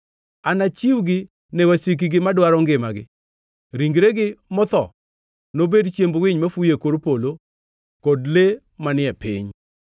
anachiwgi ne wasikgi madwaro ngimagi. Ringregi motho nobed chiemb winy mafuyo e kor polo kod le manie piny.